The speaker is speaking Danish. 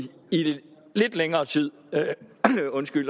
lidt længere tid